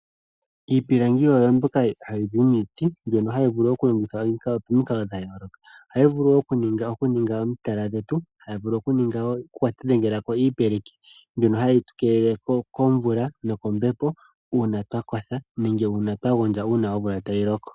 Iipilangi oyo mbyoka hayi zi miiti, mbyoka hayi vulu okulongithwa momikalo dha yooloka. Ohayi vulu wo okuninga omitala dhetu, haku vulu okudhengelwa iipeleki mbyono hayi tu keelele komvula nokombepo uuna twa kotha nenge uuna twa gondja uuna omvula tayi loko.